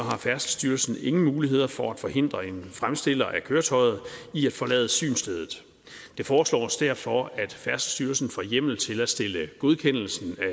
har færdselsstyrelsen ingen muligheder for at forhindre en fremstiller af køretøjet i at forlade synsstedet det foreslås derfor at færdselsstyrelsen får hjemmel til at stille godkendelsen